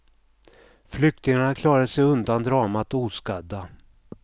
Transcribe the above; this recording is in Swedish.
Flyktingarna klarade sig undan dramat oskadda.